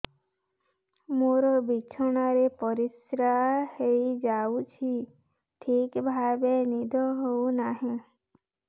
ମୋର ବିଛଣାରେ ପରିସ୍ରା ହେଇଯାଉଛି ଠିକ ଭାବେ ନିଦ ହଉ ନାହିଁ